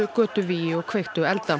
götuvígi og kveiktu elda